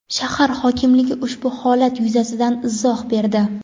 Shahar hokimligi ushbu holat yuzasidan izoh berdi.